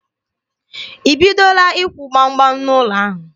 I bidola ịkwụ gbam gbam n'ụlọ ahụ?